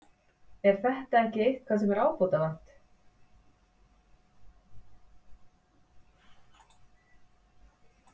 Er þetta ekki eitthvað sem er ábótavant?